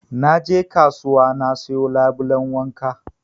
Na je kasuwa na sayo labulen wanka